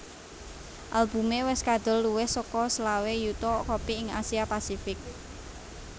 Albumé wis kadol luwih saka selawe yuta kopi ing Asia pasifik